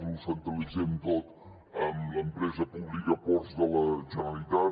ho centralitzem tot en l’empresa pública ports de la generalitat